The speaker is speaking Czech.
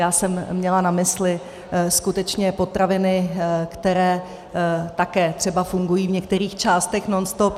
Já jsem měla na mysli skutečně potraviny, které také třeba fungují v některých částech nonstop.